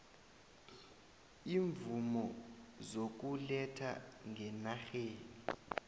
iimvumo zokuletha ngenarheni